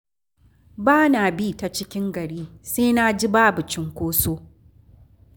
Ba na bi ta cikin gari, sai na ji babu cunkoso